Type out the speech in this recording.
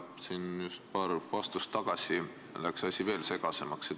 Paar vastust tagasi läks asi veel segasemaks.